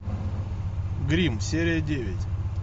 гримм серия девять